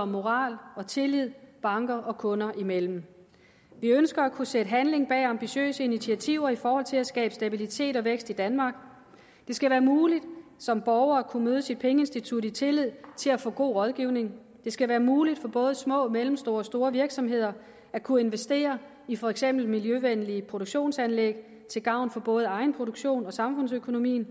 om moral og tillid banker og kunder imellem vi ønsker at kunne sætte handling bag ambitiøse initiativer i forhold til at skabe stabilitet og vækst i danmark det skal være muligt som borger at kunne møde sit pengeinstitut i tillid til at få god rådgivning det skal være muligt for både små mellemstore og store virksomheder at kunne investere i for eksempel miljøvenlige produktionsanlæg til gavn for både egenproduktion og samfundsøkonomi